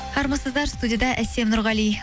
армысыздар студияда әсем нұрғали